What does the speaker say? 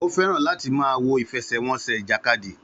Ó fẹ́ràn láti máa wo ìfẹsẹ̀wọnsẹ̀ ìjàkadì.